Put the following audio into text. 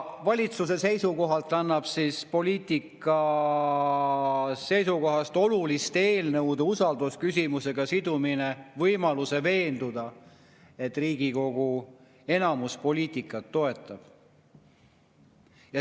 Valitsuse seisukohalt annab poliitika seisukohast oluliste eelnõude usaldusküsimusega sidumine võimaluse veenduda, et Riigikogu enamus poliitikat toetab.